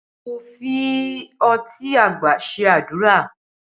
Mo fi ọtí àgbà ṣe àdúrà